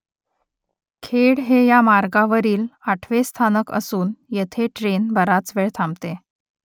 खेड हे या मार्गावरील आठवे स्थानक असून येथे ट्रेन बराच वेळ थांबते